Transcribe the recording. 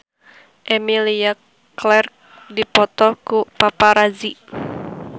Emilia Clarke dipoto ku paparazi